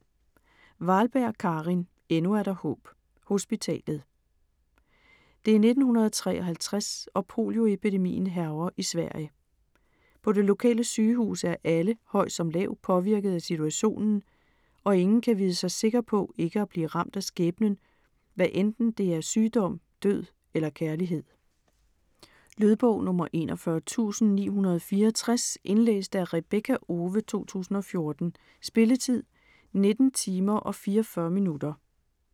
Wahlberg, Karin: Endnu er der håb: hospitalet Det er 1953, og polioepidemien hærger i Sverige. På det lokale sygehus er alle, høj som lav, påvirket af situationen, og ingen kan vide sig sikker på ikke at blive ramt af skæbnen, hvad enten det er sygdom, død eller kærlighed. Lydbog 41964 Indlæst af Rebekka Owe, 2014. Spilletid: 19 timer, 44 minutter.